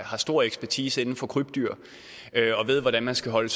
har stor ekspertise inden for krybdyr og ved hvordan man skal holde